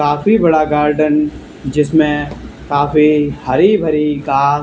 काफी बड़ा गार्डन जिसमे काफी हरी भरी घा--